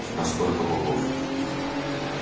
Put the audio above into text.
а сколько богов